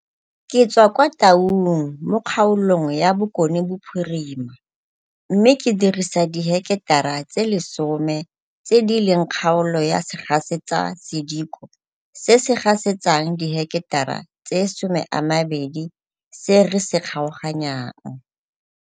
Ke tswa kwa Taung mo kgaolong ya Bokonebophirima mme ke dirisa diheketara tse 10 tse di leng kgaolo ya segasetsasediko se se gasetsang diheketara tse 20 se re se kgaoganyang.